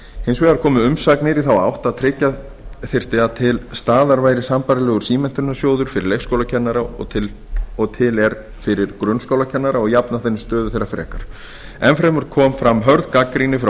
hins vegar komu umsagnir í þá átt að tryggja þyrfti að til staðar væri sambærilegur símenntunarsjóður fyrir leikskólakennara og til er fyrir grunnskólakennara og jafna þannig stöðu þeirra frekar enn fremur kom fram hörð gagnrýni frá